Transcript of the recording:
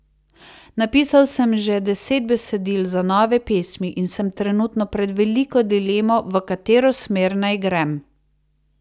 Napisal sem že deset besedil za nove pesmi in sem trenutno pred veliko dilemo, v katero smer naj grem.